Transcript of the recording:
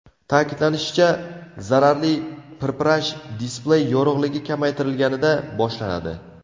Ta’kidlanishicha, zararli pirpirash displey yorug‘ligi kamaytirilganida boshlanadi.